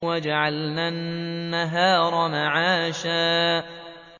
وَجَعَلْنَا النَّهَارَ مَعَاشًا